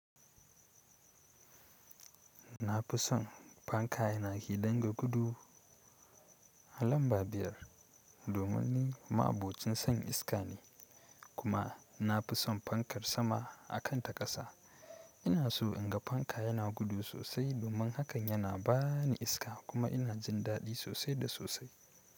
Nafisan fanka na ya dinga gudu lamba biyar domin ni ma'abocin son iska ne kuma na fi son fankar sama a kan ta ƙasa. Ina so in ga fanka yana gudu sosai domin hakan yana ba ni iska kuma ina jin daɗi sosai da sosai.